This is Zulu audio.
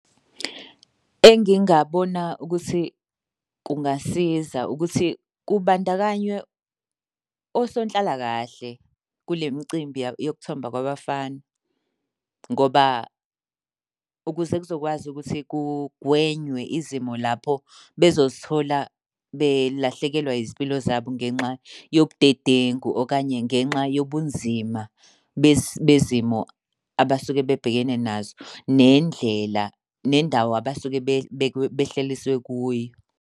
Engingabona ukuthi kungasiza ukuthi kubandakanywe osonhlalakahle kule mcimbi yokuthomba kwabafana, ngoba ukuze kuzokwazi ukuthi kugwenywe izimo lapho bezozithola belahlekelwa izimpilo zabo ngenxa yobudedengu, okanye ngenxa yobunzima bezimo abasuke bebhekene nazo. Nendlela nendawo abasuke behlaliswe kuyo.